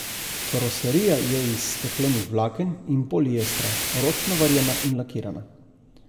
Karoserija je iz steklenih vlaken in poliestra, ročno varjena in lakirana.